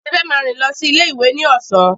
Tife máa rìn lọ sí ilé ìwé ní ọ̀sán.